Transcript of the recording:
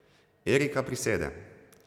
Erika prisede.